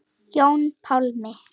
Jón Pálmi.